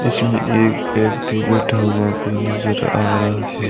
इसमें एक व्यक्ति बैठा हुआ भी अपनी नजर आ रहा है।